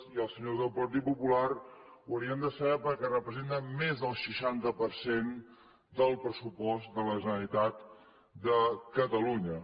i els senyors del partit popular ho haurien de saber perquè representen més del seixanta per cent del pressupost de la generalitat de catalunya